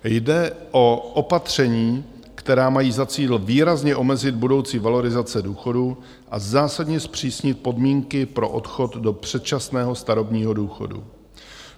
Jde o opatření, která mají za cíl výrazně omezit budoucí valorizace důchodů a zásadně zpřísnit podmínky pro odchod do předčasného starobního důchodu.